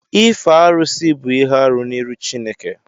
ịfe arụsị bụ ihe-árụ n'iru Chineke